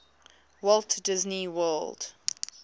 walt disney world